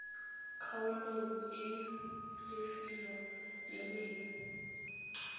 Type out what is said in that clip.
kgaolong e lefelo le leng